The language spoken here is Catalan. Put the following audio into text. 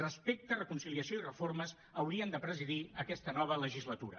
respecte reconciliació i reformes haurien de presidir aquesta nova legislatura